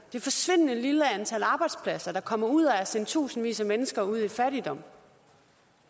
et forsvindende lille antal arbejdspladser der kommer ud af at sende tusindvis af mennesker ud i fattigdom